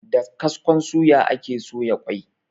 Da kaskon suya ake soya ƙwai.